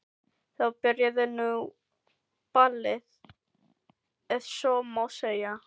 Þá byrjaði nú ballið ef svo má segja.